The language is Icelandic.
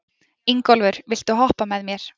Ingólfur, viltu hoppa með mér?